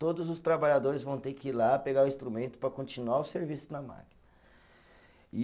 Todos os trabalhadores vão ter que ir lá pegar o instrumento para continuar o serviço na máquina, e